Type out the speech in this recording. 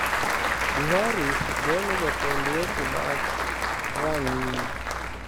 Buhari golo jatend weche mag rang'iny